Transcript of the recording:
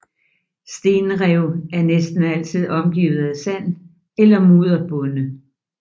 Stenrev er næsten altid omgivet af sand eller mudderbunde